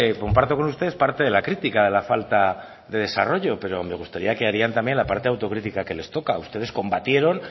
comparto con ustedes parte de la crítica de la falta de desarrollo pero me gustaría que harían también la parte autocritica que les toca ustedes combatieron